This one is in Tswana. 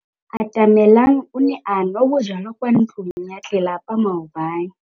Atamelang o ne a nwa bojwala kwa ntlong ya tlelapa maobane.